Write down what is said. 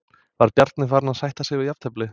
Var Bjarni farinn að sætta sig við jafnteflið?